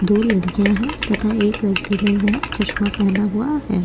दो लड़कियां हैं तथा एक व्यक्ति ने यहां चश्मा पहना हुआ है।